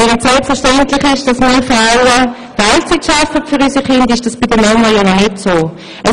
Während es selbstverständlich ist, dass wir Frauen für unsere Kinder Teilzeit arbeiten, ist dies bei den Männern noch nicht so.